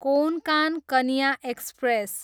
Konkan Kanya express